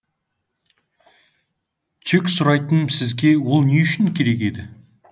тек сұрайтыным сізге ол не үшін керек еді